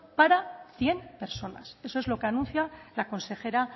para cien personas eso es lo que anuncia la consejera